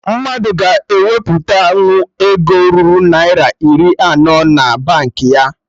Mmadụ ga akwụpụta nwu ego ruru Naira iri anọ na Baankị ha